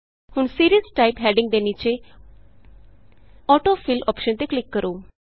ਹੁਣ series type heading ਦੇ ਨੀਚੇ AutoFillਅੋਪਸ਼ਨ ਤੇ ਕਲਿਕ ਕਰੋ